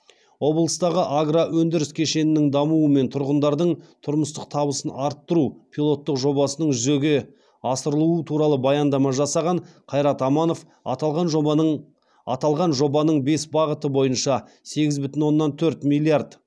облыстағы агроөндіріс кешенінің дамуы мен тұрғындардың тұрмыстық табысын арттыру пилоттық жобасының жүзеге асырылуы туралы баяндама жасаған қайрат аманов аталған жобаның аталған жобаның бес бағыты бойынша сегіз бүтін оннан төрт миллиард